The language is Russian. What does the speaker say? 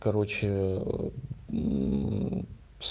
короче